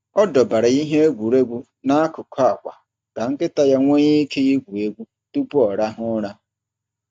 Ọ dọbara ihe egwuregwu n’akụkụ akwa ka nkịta ya nwee ike igwu egwu tupu ọ rahụ ụra.